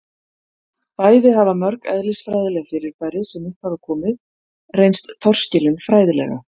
bæði hafa mörg eðlisfræðileg fyrirbæri sem upp hafa komið reynst torskilin fræðilega